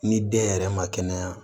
Ni den yɛrɛ ma kɛnɛya